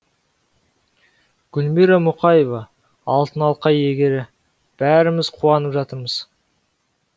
гүлмира мұқаева алтын алқа иегері бәріміз қуанып жатырмыз